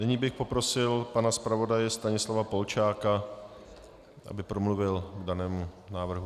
Nyní bych poprosil pana zpravodaje Stanislava Polčáka, aby promluvil k danému návrhu.